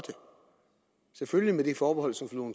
selvfølgelig med det forbehold som fru